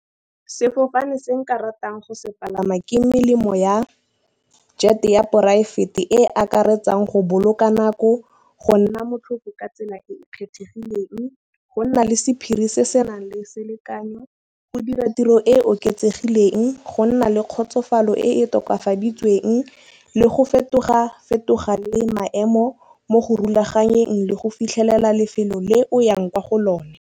Sefofane se nka ratang go se palama ke melemo ya jet ya poraefete e akaretsang go boloka nako. Go nna motlhofo ka tsela e e kgethegileng go nna le sephiri se se nang le selekanyo go dira tiro e oketsegileng. Go nna le kgotsofalo e e tokafaditsweng le go fetoga fetoga le maemo mo go rulaganyetsang le go fitlhelela lefelo le oyang kwa go lona.